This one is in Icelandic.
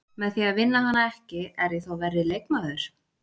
Með því að vinna hana ekki, er ég þá verri leikmaður?